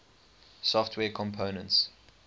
software components